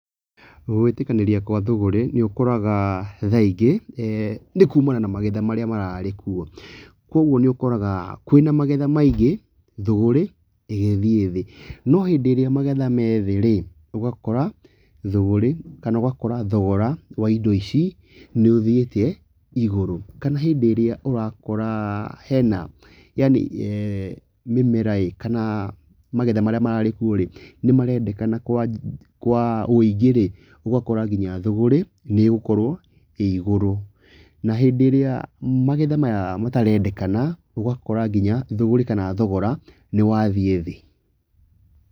Gwĩtĩkanĩria kwa thũgũrĩ nĩ ũkoraga thaa ingĩ, nĩkũmana na magetha marĩa mararĩ kuo. Koguo nĩ ũkoraga kwĩna magetha maingĩ, thũgũrĩ ĩgĩthiĩ thĩĩ, no hĩndĩ ĩrĩa magetha me thĩĩ rĩ, ũgakora thũgũrĩ kana ũgakora thogora wa indo ici nĩ ũthiĩte igũrũ kana hĩndĩ ĩrĩa ũrakora hena yani mĩmeraĩ kana magetha marĩa mararĩ kuo rĩ, nĩ marendekana kwa, kwa ũingĩ rĩ, ũgakora nginya thũgũrĩ nĩ ĩgũkorwo ĩ igũrũ, na hĩndĩ ĩrĩa magetha maya matarendekana, ũgakora nginya thũgũrĩ kana thogora nĩ wathiĩ thĩĩ.